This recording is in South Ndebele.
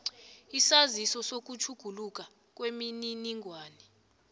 isaziso sokutjhuguluka kwemininingwana